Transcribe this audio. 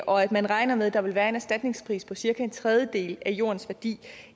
og at man regner med at der vil være en erstatningspris på cirka en tredjedel af jordens værdi